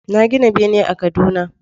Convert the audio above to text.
Na gina bene a Kaduna